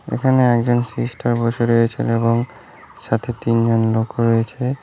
এখানে একজন সিস্টার বসে রয়েছেন এবং সাথে তিনজন লোকও রয়েছে।